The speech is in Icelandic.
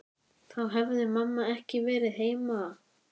Þá hefði mamma ekki verið heima.